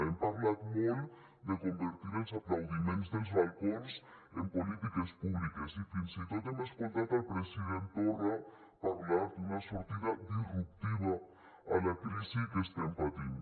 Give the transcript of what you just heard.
hem parlat molt de convertir els aplaudiments dels balcons en polítiques públiques i fins i tot hem escoltat el president torra parlar d’una sortida disruptiva a la crisi que estem patint